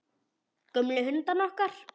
Gömlu hundana okkar.